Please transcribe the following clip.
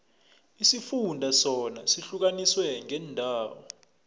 isifunda sona sihlukaniswe ngeendawo